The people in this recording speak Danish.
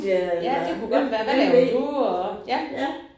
Ja det kunne godt være. Hvad laver du og ja